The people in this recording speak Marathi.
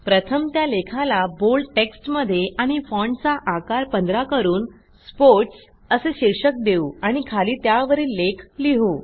प्रथम त्या लेखाला बोल्ड टेक्स्टमध्ये आणि फाँटचा आकार 15 करून स्पोर्ट्स असे शीर्षक देऊ आणि खाली त्यावरील लेख लिहू